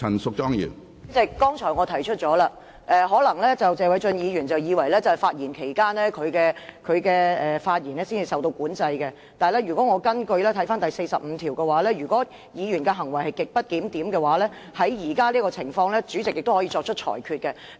主席，我剛才已提出，謝偉俊議員可能以為在他發言期間的言論才受到管制，但《議事規則》第45條規定，如議員行為極不檢點，即在現時這種情況下，主席可作出裁決。